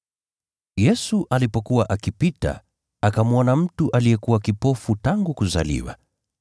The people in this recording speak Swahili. Yesu alipokuwa akipita, akamwona mtu aliyekuwa kipofu tangu kuzaliwa.